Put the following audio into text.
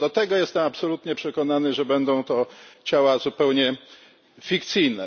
Co do tego jestem absolutnie przekonany, że będą to ciała zupełnie fikcyjne.